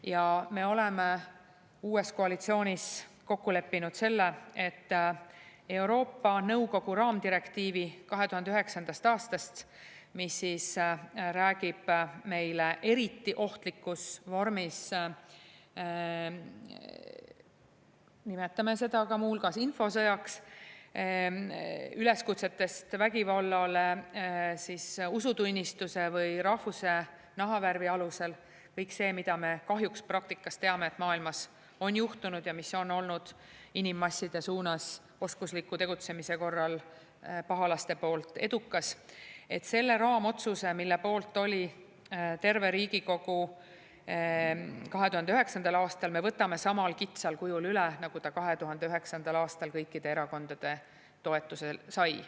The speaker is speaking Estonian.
Ja me oleme uues koalitsioonis kokku leppinud selle, et Euroopa Nõukogu raamdirektiivi 2009. aastast, mis räägib meile eriti ohtlikus vormis üleskutsetest, nimetame seda muu hulgas infosõjaks, vägivallale usutunnistuse või rahvuse või nahavärvi alusel – kõik see, mida me kahjuks praktikast teame, et maailmas on juhtunud ja mis on olnud inimmasside suunas oskusliku tegutsemise korral pahalaste poolt edukas –, selle raamotsuse, mille poolt oli terve Riigikogu 2009. aastal, me võtame samal kitsal kujul üle, nagu ta 2009. aastal kõikide erakondade toetuse sai.